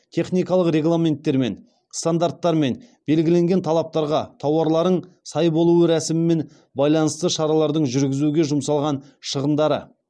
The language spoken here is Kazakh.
техникалық регламенттермен стандарттармен белгіленген талаптарға тауарлардың сай болуы рәсімімен байланысты шараларды жүргізуге жұмсалған шығындарды